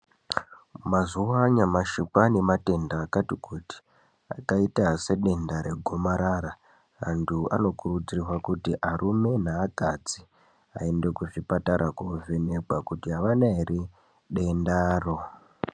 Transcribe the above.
Mazuva anyamashi kwavane nematenda akati kuti akaita sedenda regomarara antu anokuridzirwa kuti arume ne akadzi aende kuchipatara kuno vhenekwa kuti havana here dendaro.